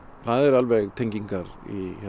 það eru alveg tengingar